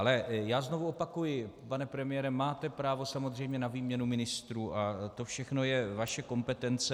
Ale já znovu opakuji, pane premiére, máte právo, samozřejmě, na výměnu ministrů a to všechno je vaše kompetence.